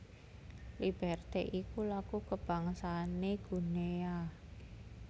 Liberté iku lagu kabangsané Guinea